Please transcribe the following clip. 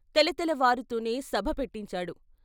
తెలతెల వారుతూనే సభ పెట్టించాడు.